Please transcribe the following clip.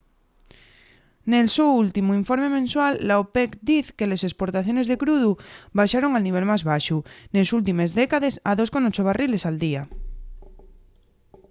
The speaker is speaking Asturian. nel so últimu informe mensual la opec diz que les esportaciones de crudu baxaron al nivel más baxu nes últimes décades a 2,8 barriles al día